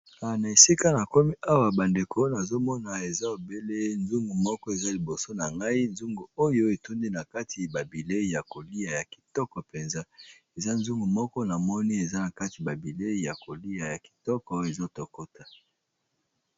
Na esika na komi awa bandeko nazomona eza obele nzungu moko eza liboso na ngai nzungu oyo etundi na kati babilei ya kolia ya kitoko mpenza eza nzungu moko na moni eza na kati babilei ya kolia ya kitoko oyo ezotokota.